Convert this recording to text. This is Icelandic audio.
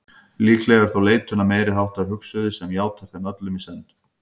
Líklega er þó leitun að meiriháttar hugsuði sem játar þeim öllum í senn.